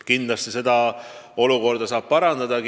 Kindlasti seda valmisolekut saab parandada.